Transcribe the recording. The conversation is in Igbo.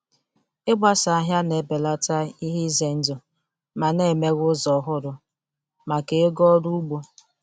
Ịgbasa ahịa na-ebelata ihe ize ndụ ma na-emeghe ụzọ ọhụrụ maka ego ọrụ ugbo.